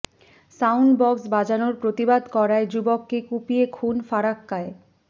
sound box বাজানোর প্রতিবাদ করায় যুবককে কুপিয়ে খুন ফরাক্কায়